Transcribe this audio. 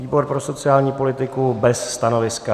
Výbor pro sociální politiku bez stanoviska.